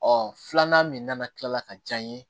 Ɔ filanan min nana kila ka diya n ye